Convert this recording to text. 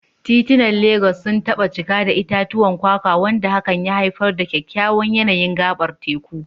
Titunan Legas sun taba cika da itatuwan kwakwa, wanda hakan ya haifar da kyakkyawan yanayin gabar teku.